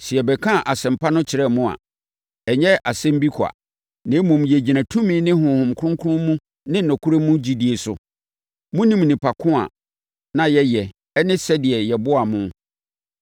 Sɛ yɛbɛkaa Asɛmpa no kyerɛɛ mo a, ɛnyɛ nsɛm bi kwa, na mmom, yɛgyina tumi ne Honhom Kronkron ne mu nokorɛ mu gyidie so. Monim nnipa ko a na yɛyɛ ɛne sɛdeɛ yɛboaa mo.